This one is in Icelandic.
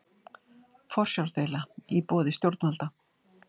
Forsjárdeila á borði stjórnvalda